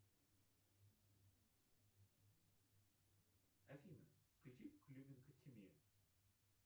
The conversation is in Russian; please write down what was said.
афина включи клюминкотемия